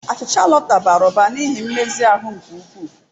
Achịcha Lota bara ụba n'ihe nmezi ahụ nke ukwuu.